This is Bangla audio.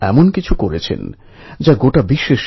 কোন রাস্তা না পাওয়াতে ওরা গুহার